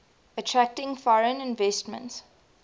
attracting foreign investment